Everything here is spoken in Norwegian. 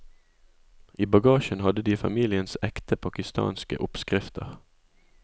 I bagasjen hadde de familiens ekte pakistanske oppskrifter.